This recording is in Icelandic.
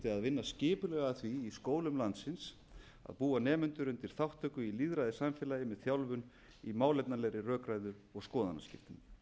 vinna skipulega að því í skólum landsins að búa nemendur undir þátttöku í lýðræðissamfélagi með þjálfun í málefnalegri rökræðu og skoðanaskiptum